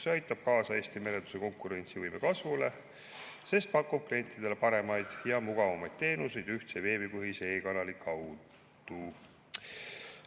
See aitab kaasa Eesti merenduse konkurentsivõime kasvule, sest pakub klientidele paremaid ja mugavamaid teenuseid ühtse veebipõhise e‑kanali kaudu.